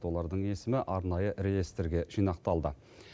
олардың есімі арнайы реестрге жинақталды